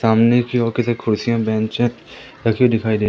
सामने की ओर कुर्सियां बेंच रखी दिखाई दे--